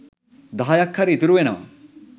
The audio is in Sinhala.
දහයක් හරි ඉතුරු වෙනවා.